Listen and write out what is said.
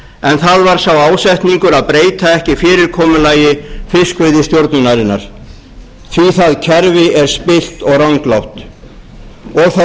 en það var sá ásetningur að breyta ekki fyrirkomulagi fiskveiðistjórnarinnar því að það kerfi er spillt og ranglátt þá